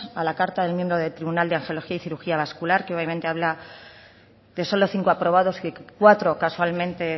a la carta del miembro del tribunal de angiología y cirugía vascular que obviamente habla de solo cinco aprobados y cuatro casualmente